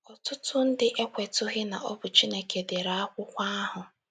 Ọtụtụ ndị ekwetụghị na ọ bụ Chineke dere akụkọ ahụ.